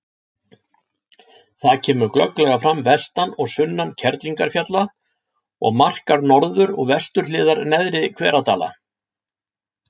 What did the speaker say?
Það kemur glögglega fram vestan og sunnan Kerlingarfjalla og markar norður- og vesturhliðar Neðri-Hveradala.